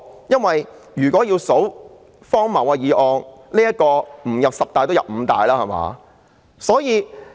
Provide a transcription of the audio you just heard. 如果要選最荒謬的議案，這項議案即使不入五大也入十大。